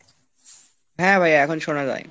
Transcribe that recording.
হ্যাঁ ভাই এখন শোনা যায়।